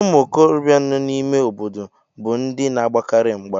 Ụmụ okorobịa nọ n'ime obodo bụ ndị na-agbakarị mgba